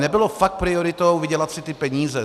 Nebylo fakt prioritou vydělat si ty peníze.